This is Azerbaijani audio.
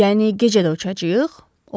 Yəni gecə də uçacağıq?